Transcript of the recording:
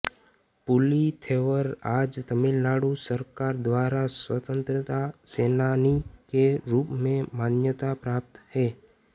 पुली थेवर आज तमिलनाडु सरकार द्वारा स्वतंत्रता सेनानी के रूप में मान्यता प्राप्त है